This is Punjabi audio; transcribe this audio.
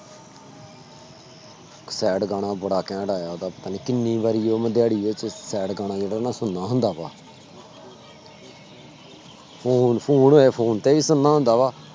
Sad ਗਾਣਾ ਬੜਾ ਘੈਂਟ ਆਇਆ ਉਹਦਾ ਪਤਾ ਨੀ ਕਿੰਨੀ ਵਾਰੀ ਉਹ ਮੈਂ ਦਿਹਾੜੀ ਵਿੱਚ sad ਗਾਣਾ ਜਿਹੜਾ ਨਾ ਸੁਣਨਾ ਹੁੰਦਾ ਵਾ phone, phone ਹੋਇਆ phone ਤੇ ਵੀ ਸੁਣਨਾ ਹੁੰਦਾ ਵਾ,